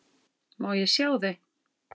Má ég sjá þau?